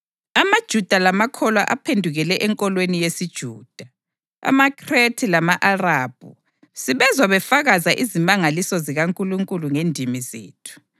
(amaJuda lamakholwa aphendukele enkolweni yesiJuda); amaKhrethe lama-Arabhu, sibezwa befakaza izimangaliso zikaNkulunkulu ngendimi zethu!”